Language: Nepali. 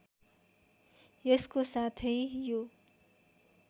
यसको साथै यो